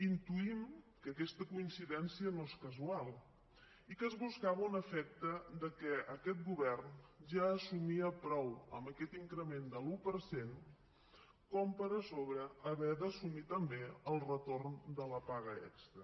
intuïm que aquesta coincidència no és casual i que es buscava un efecte que aquest govern ja assumia prou amb aquest increment de l’un per cent per a sobre haver d’assumir també el retorn de la paga extra